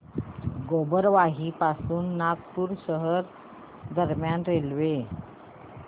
गोबरवाही पासून नागपूर शहर दरम्यान रेल्वे